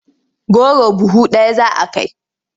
Goro buhu ɗaya za a kai.